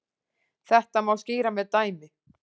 Þetta má skýra með dæmi.